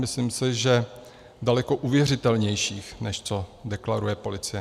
Myslím si, že daleko uvěřitelnější, než co deklaruje policie.